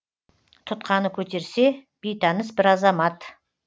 тұтқаны көтерсе бейтаныс бір азамат